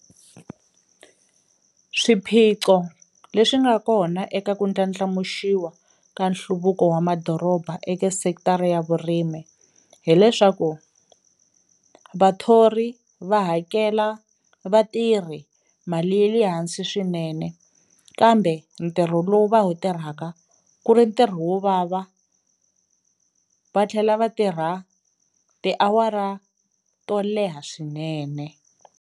Swiphiqo leswi nga kona eka ku ndlandlamuxiwa ka nhluvuko wa madoroba eka sekitara ya vurimi hileswaku vathori va hakela vatirhi mali ye le hansi swinene kambe ntirho lowu va wu tirhaka ku ri ntirho wo vava va tlhela va tirha tiawara to leha swinene.